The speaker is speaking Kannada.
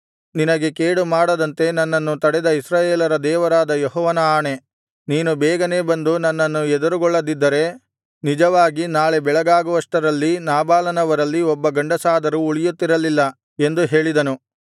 ನಿನಗೆ ಕೇಡು ಮಾಡದಂತೆ ನನ್ನನ್ನು ತಡೆದ ಇಸ್ರಾಯೇಲರ ದೇವರಾದ ಯೆಹೋವನ ಆಣೆ ನೀನು ಬೇಗನೇ ಬಂದು ನನ್ನನ್ನು ಎದುರುಗೊಳ್ಳದಿದ್ದರೆ ನಿಜವಾಗಿ ನಾಳೆ ಬೆಳಗಾಗುವಷ್ಟರಲ್ಲಿ ನಾಬಾಲನವರಲ್ಲಿ ಒಬ್ಬ ಗಂಡಸಾದರೂ ಉಳಿಯುತ್ತಿರಲಿಲ್ಲ ಎಂದು ಹೇಳಿದನು